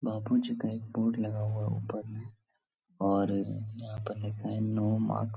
बापू जी का एक बोर्ड लगा हुआ है ऊपर में और यहाँ पर लिखा है नो माक --